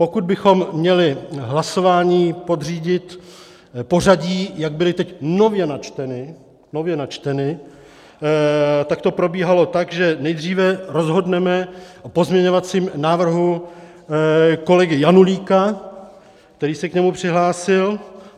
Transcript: Pokud bychom měli hlasování podřídit pořadí, jak byly teď nově načteny, tak to probíhalo tak, že nejdříve rozhodneme o pozměňovacím návrhu kolegy Janulíka, který se k němu přihlásil.